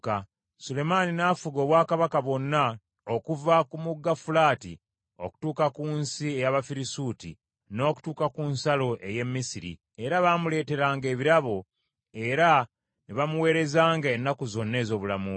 Sulemaani n’afuga obwakabaka bwonna okuva ku Mugga Fulaati okutuuka ku nsi ey’Abafirisuuti n’okutuuka ku nsalo ey’e Misiri, era baamuleeteranga ebirabo, era ne bamuweerezanga ennaku zonna ez’obulamu bwe .